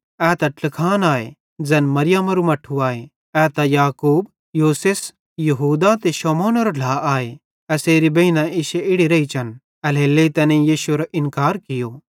ए त ट्लखान आए ज़ैन मरियमारू मट्ठू आए ए त याकूब योसेस यहूदा ते शमौनेरो ढ्ला आए एसेरी बेइनां भी इश्शे इड़ी रेइचन एल्हेरेलेइ तैनेईं यीशुएरो इन्कार कियो